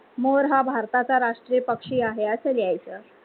मोर हा भारताचा राष्ट्रीय पक्षी आहे अस लिहायच.